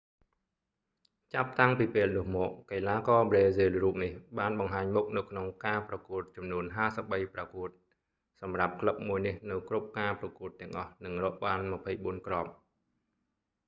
ចាប់តាំងពីពេលនោះមក កីឡាករប្រេស៊ីលរូបនេះបានបង្ហាញមុខនៅក្នុងការប្រកួតចំនួន 53ប្រកួត សម្រាប់ក្លឹបមួយនេះនៅគ្រប់ការប្រកួតទាំងអស់ និងរកបាន 24 គ្រាប់